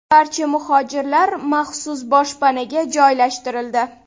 Barcha muhojirlar maxsus boshpanaga joylashtirildi.